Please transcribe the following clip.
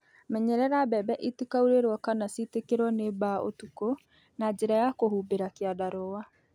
Menyerera mbembe itikaurĩrwo kana citĩkĩrwo nĩ mbaa ũtukũ na njĩra ya kũhumbĩra kĩandarũa